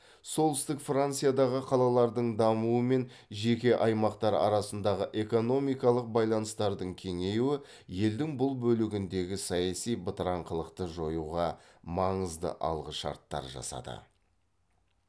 солтүстік франциядағы қалалардың дамуы мен жеке аймақтар арасындағы экономикалық байланыстардың кеңеюі елдің бұл бөлігіндегі саяси бытыраңқылықты жоюға маңызды алғышарттар жасады